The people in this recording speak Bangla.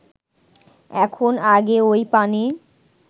এখন আগে ঐ পানি